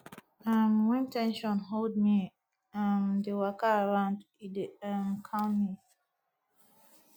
um wen ten sion hold mei um dey waka around e dey um calm me